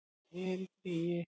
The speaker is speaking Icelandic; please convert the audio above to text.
Ég er í fríi